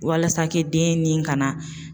Walasa ke den ni ka na